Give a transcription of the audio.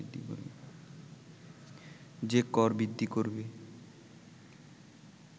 যে কর বৃদ্ধি করবে